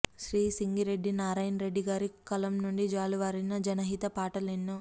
శ్రీ సింగిరెడ్డి నారాయణరెడ్డి గారి కలం నుండి జూలువారిన జనహిత పాటలు ఎన్నో